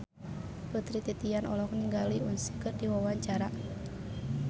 Putri Titian olohok ningali Usher keur diwawancara